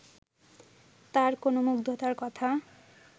তাঁর কোনো মুগ্ধতার কথা